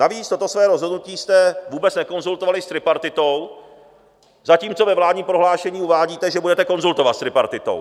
Navíc toto své rozhodnutí jste vůbec nekonzultovali s tripartitou, zatímco ve vládním prohlášení uvádíte, že budete konzultovat s tripartitou.